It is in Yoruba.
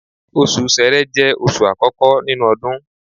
Osù ṣẹrẹ jẹ́ oṣù àkọ́kọ́ nínú odun